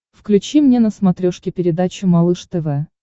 включи мне на смотрешке передачу малыш тв